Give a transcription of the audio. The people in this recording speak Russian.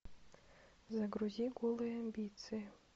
загрузи голые амбиции